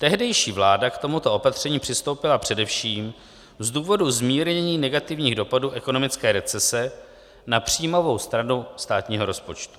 Tehdejší vláda k tomuto opatření přistoupila především z důvodu zmírnění negativních dopadů ekonomické recese na příjmovou stranu státního rozpočtu.